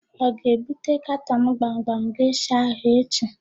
Ọ ga-ebute katọn ázụ̀ gbamgbam geshịa ahụ echi?